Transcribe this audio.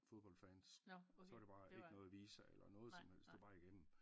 Fodbold fans så var der bare ikke noget visa eller noget som helst det var bare lige igemmen